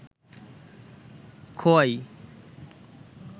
Khowai